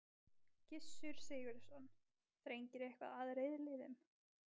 Gissur Sigurðsson: Þrengir eitthvað að reiðleiðum?